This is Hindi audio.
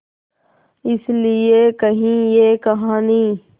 इस लिये कही ये कहानी